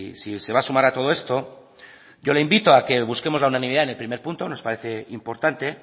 si se va a sumar a todo esto yo le invito a que busquemos la unanimidad en el primer punto nos parece importante